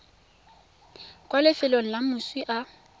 kwa lefelong le moswi a